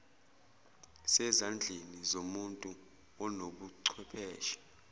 sezandleni zomuntu onobuchwepheshe